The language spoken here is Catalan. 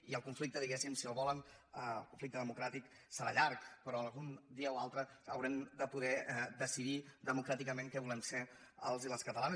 i el conflicte diguéssim si el volen el conflicte democràtic serà llarg però algun dia haurem de poder decidir democràticament què volem ser els i les catalanes